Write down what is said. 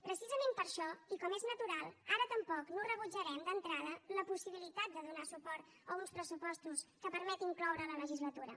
precisament per això i com és natural ara tampoc no rebutjarem d’entrada la possibilitat de donar suport a uns pressupostos que permet incloure la legislatura